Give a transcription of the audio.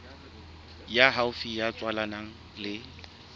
ya haufi ya tswalanang le